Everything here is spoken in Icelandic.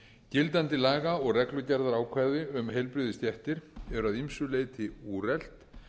gildandi laga og reglugerðaákvæði um heilbrigðisstéttir eru að ýmsu leyti úrelt